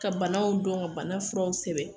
Ka banaw dɔn ka bana furaw sɛbɛn.